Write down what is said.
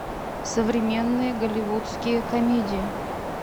современные голливудские комедии